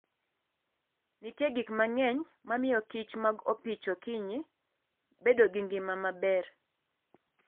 Nitie gik mang'eny ma miyo kich mag opich okinyi bedo gi ngima maber.